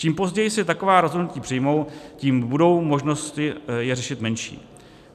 Čím později se taková rozhodnutí přijmou, tím budou možnosti je řešit menší.